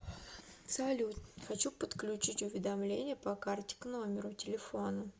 салют хочу подключить уведомления по карте к номеру телефона